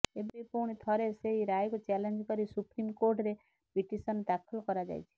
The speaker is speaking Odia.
ଏବେ ପୁଣି ଥରେ ସେହି ରାୟକୁ ଚ୍ୟାଲେଞ୍ଜ କରି ସୁପ୍ରିମ୍କୋର୍ଟରେ ପିଟିସନ୍ ଦାଖଲ କରାଯାଇଛି